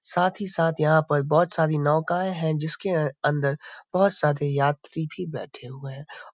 साथ ही साथ यहां पर बहुत सारी नौकायें हैंजिसके अ अंदर बहुत सारे यात्री भी बैठे हुए हैं।